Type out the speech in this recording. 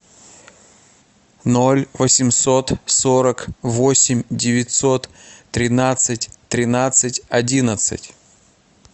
ноль восемьсот сорок восемь девятьсот тринадцать тринадцать одиннадцать